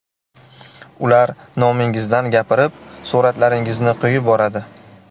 Ular nomingizdan gapirib, suratlaringizni qo‘yib boradi.